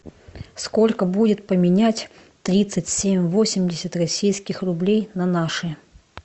сколько будет поменять тридцать семь восемьдесят российских рублей на наши